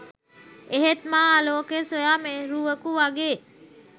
එහෙත් මා ආලෝකය සොයා මෙරුවකු වගේ